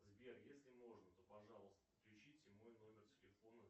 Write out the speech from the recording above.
сбер если можно то пожалуйста включите мой номер телефона